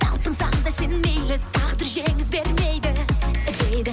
талпынсаң да сен мейлі тағдыр жеңіс бермейді дейді